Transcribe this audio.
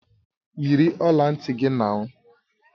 Yiri ọla ntị gị nau!